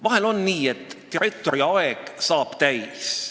Vahel on nii, et direktori aeg saab täis.